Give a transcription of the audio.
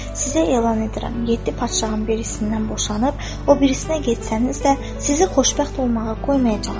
Sizə elan edirəm: yeddi padşahın birisindən boşanıp o birisinə getsəniz də, sizi xoşbəxt olmağa qoymayacağam.